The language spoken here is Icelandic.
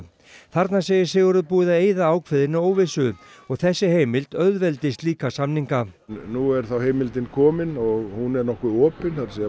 þarna segir Sigurður Ingi búið að eyða ákveðinni óvissu og þessi heimild auðveldi slíka samninga nú er þá heimildin komin og hún er nokkuð opin það er